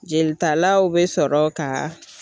Jelitalaw bɛ sɔrɔ ka